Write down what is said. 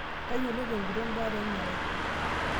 Tayiolo tenguton baare emerai.